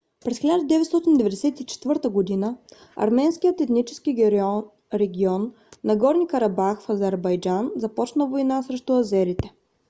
през 1994 г. арменският етнически регион нагорни карабах в азербайджан започна война срещу азерите